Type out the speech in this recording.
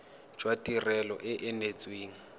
jwa tirelo e e neetsweng